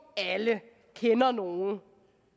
alle kender nogle